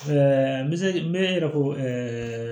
Ɛɛ n bɛ se n bɛ n yɛrɛ ko